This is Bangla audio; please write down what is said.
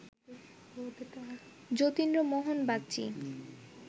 যতীন্দ্রমোহন বাগচি